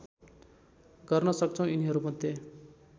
गर्न सक्छौँ यिनीहरूमध्ये